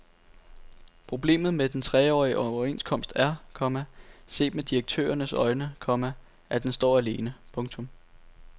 Problemet med den treårige overenskomst er, komma set med direktørernes øjne, komma at den står alene. punktum